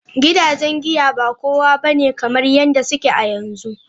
Gidajen giya ba kowa ba ne kamar yadda suke a yanzu.